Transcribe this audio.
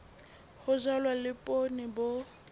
ho jalwa le poone bo